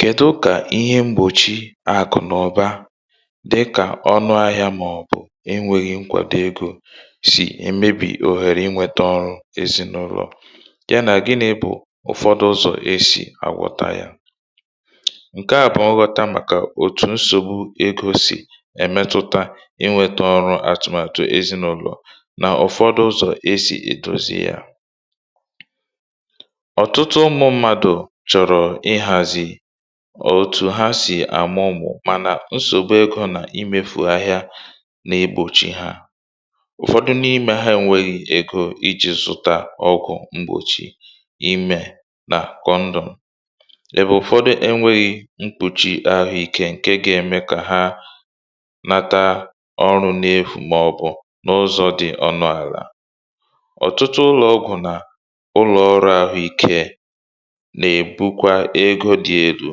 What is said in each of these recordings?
kèdu kà ihe mgbòchi àkụ̀nụ̀ba dị kà ọnụ ahịā mà ọ̀ bụ̀ e nweghị nkwàdo egō sì èmebì òhèrè ị nwẹ̄tẹ ọrụ̄ èzịnụlọ̀ ya nà gịnị bụ̀ ụfọ̀dụ ụzọ̀ e sì àgwọta yā ǹkẹ à bụ̀ nghọta màkà òtù nsògbu egō sì ẹ̀mẹtụta ị nwẹtẹ ọrụ atụ̀màtụ̀ èzịnụlọ̀ nà ụ̀fọdụ ụzò e sì èdozi yā ọtụtụ ụmụ̄ mmadù chọ̀rọ̀ ị hàzị̀ òtù ha sì àmụ ụmụ̀ mànà nsògbu egō nà imefù ahịa nà egbòchi ha ụ̀fọdụ n’imē ha enwēghi egō ịjị̄ zụta ọgwụ̀ mgbòchi imē nà kondọ̀m ụ̀fọdụ ẹnwẹghị mgbòchì ahụ ikē ǹke ga ẹmẹ kà ha mata ọrụ̄ n’efù mà ọ̀ bụ̀ n’ụzọ̄ dị onụ àlà ọtụtụ ụlọ̄ ọgwụ̀ nà ụlọ̀ ọrụ̄ ahụ ikē nà èbukwa egō dị elū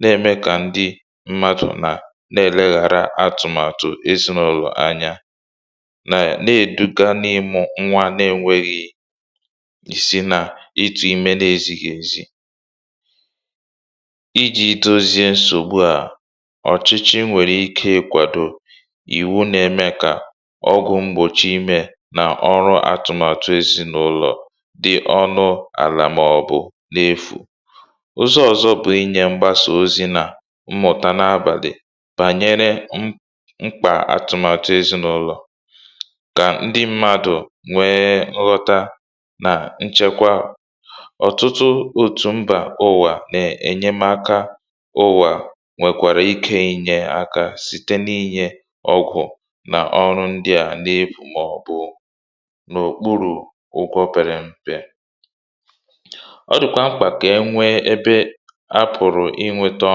nà ẹ̀mẹ kà ndị mmadù nà nà ẹlẹghara atụ̀màtụ̀ ezịnụlọ̀ anya nà ẹ nà èduga n’ịmụ nwa nā e nweghi ìsi nà itu ime nā ezighī ezì ịjị̄ dozie nsògbu à ọ̀chịchị nwẹ̀rẹ̀ ike ị kwàdo ìwu nā ẹmẹ kà ọgwụ̀ mgbòchi imē nà ọrụ atụ̀màtụ ezinulò dị ọnụ̄ àlà mà ọ̀ bụ̀ n’efù ụzọ̄ ọzọ̄ bụ ịnyẹ̄ mgbasà ozī nà mmụ̀ta na abàlị̀ bànyẹrẹ m mkpà atụ̀màtụ ezịnulọ̀ kà ndị mmadù nwẹ nghọta nà nchẹkwa ọtụtụ òtù mba ụ̀wà nà ẹ̀nyẹmaka ụ̀wà nwẹ̀kwàrà ike inyē aka site na inyẹ̄ ọ̀gọ̀ nà ọrụ ndị à n’efù mà ọ̀ bụ̀ n’òkpurù ụgwọ pẹrẹ mpe ọ dị̀kwà mkpà kà e nwẹ ẹbẹ a pụ̀rụ̀ ị nwẹta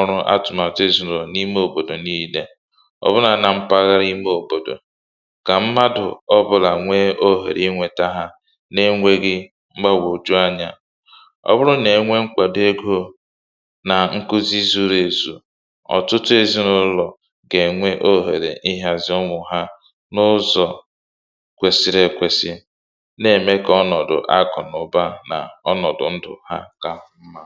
ọrụ atụ̀màtụ èzịnụlọ̀ n’ime òbòdò nille ọ̀ bụ nā na mpaghara ime òbòdò kà mmadù ọ bụlà nwẹ òhèrè ị nwẹta ha na ẹnwẹghị mgbagwòju anyā ọ bụrụ nà ẹ nwẹ nkwàdo egō nà nkuzi zuru èzù ọ̀tụtụ ezịnụlọ̀ gà ẹ̀nwẹ ohèrè ị hàzì ụmụ̀ ha n’ụzọ̀ kwẹsịrị ẹkwẹsị nà ẹ̀mẹ kà ọnọ̀dụ̀ akụ̀nụ̀ba nà ọnọ̀dụ̀ ndụ̀ ha kà mmā